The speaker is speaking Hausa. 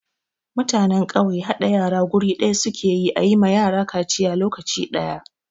Mutanen ƙauye haɗa yara guri guda su ke yi a yi ma yara kaciya lokaci ɗaya.